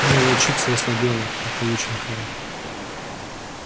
но и волчица ослабела от полученных ран